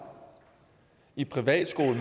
i privatskole